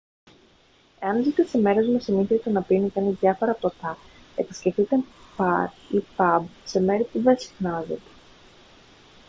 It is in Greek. εάν ζείτε σε μέρος με συνήθεια το να πίνει κανείς διάφορα ποτά επισκεφθείτε μπαρ ή παμπ σε μέρη που δεν συχνάζετε